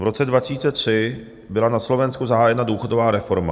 V roce 2003 byla na Slovensku zahájena důchodová reforma.